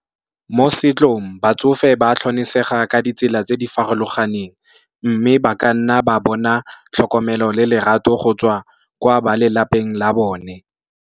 Mo setsong batsofe ba tlhonesega ka ditsela tse di farologaneng, mme ba ka nna ba bona tlhokomelo le lerato go tswa kwa ba lelapeng la bone.